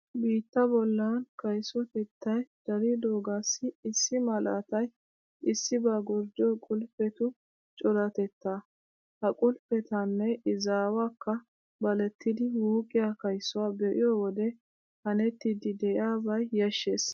Biittaa bollan kaysotettay daridoogaassi issi malaatay issibaa gorddiyo qulppetu coratettaa. Ha qulppetanne izaawakka balettidi wuuqqiya kaysuwa be'iyo wode hanettiiddi de'iyabay yashshees.